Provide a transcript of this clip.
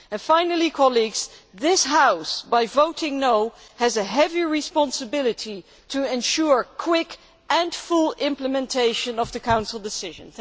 Finally, colleagues, this House, by voting no', has a heavy responsibility to ensure quick and full implementation of the Council decision.